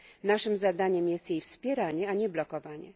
Naszym zadaniem jest jej wspieranie, a nie blokowanie.